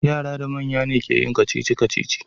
Yara da manya ne ke yin kacici-kacici.